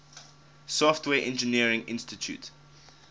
software engineering institute